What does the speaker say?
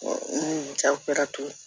jago kɛra to ye